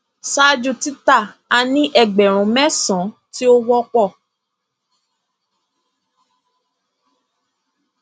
ṣáájú tita a ní ẹgbẹrún mẹsànán ti ó wọpọ